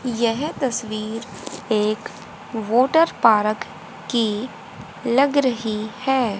यह तस्वीर एक वाटर पार्क की लग रही है।